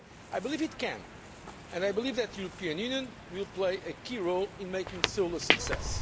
I believe it can, and I believe that the European Union will play a key role in making Seoul a success.